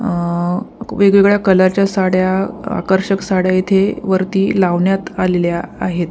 आ वेगवेगळ्या कलरच्या साड्या आकर्षक साड्या इथे वरती लावण्यात आलेल्या आहेत.